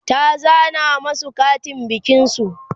ta zana masu Katin bikin su